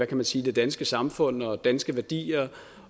kan man sige det danske samfund og danske værdier